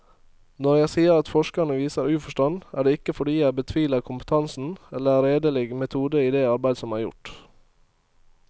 Når jeg sier at forskerne viser uforstand, er det ikke fordi jeg betviler kompetansen eller redelig metode i det arbeid som er gjort.